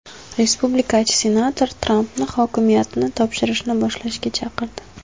Respublikachi senator Trampni hokimiyatni topshirishni boshlashga chaqirdi.